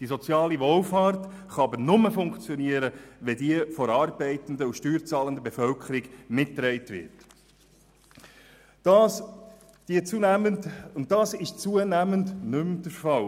Die soziale Wohlfahrt kann aber nur funktionieren, wenn sie von der arbeitenden und steuerzahlenden Bevölkerung mitgetragen wird, und das ist zunehmend nicht mehr der Fall.